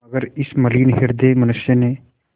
मगर इस मलिन हृदय मनुष्य ने